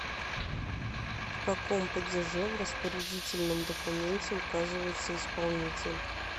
в каком падеже в распорядительном документе указывается исполнитель